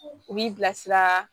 U b'i bilasira